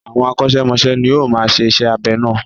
Àwọn akọ́ṣẹ́mọsẹ́ ni ó máa ń ṣe iṣẹ́ abẹ náà.